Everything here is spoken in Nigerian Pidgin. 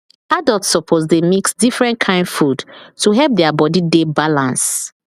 adults suppose dey mix different kain food to help their body dey balance